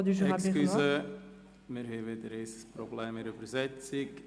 Entschuldigung, wir haben wieder ein Problem mit der Übersetzung.